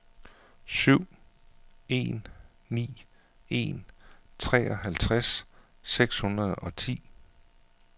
syv en ni en treoghalvtreds seks hundrede og ti